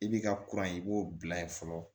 I b'i ka kuran i b'o bila ye fɔlɔ